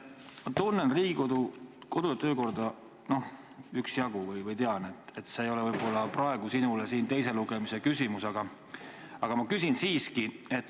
Ma tunnen Riigikogu kodu- ja töökorda üksjagu ning tean, et see ei ole võib-olla praegu teise lugemise küsimus, aga ma küsin siiski.